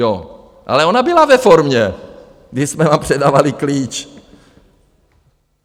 Jo, ale ona byla ve formě, když jsme vám předávali klíč.